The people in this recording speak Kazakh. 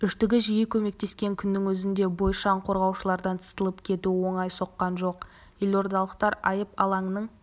үштігі жиі көмектескен күннің өзінде бойшаң қорғаушылардан сытылып кетуі оңай соққан жоқ елордалықтар айып алаңының